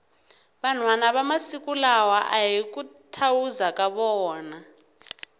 vanhwana va masiku lawa ahi ku thawuza ka vona